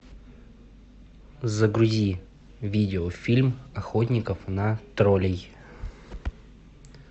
загрузи видеофильм охотников на троллей